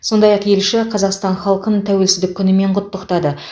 сондай ақ елші қазақстан халқын тәуелсіздік күнімен құттықтады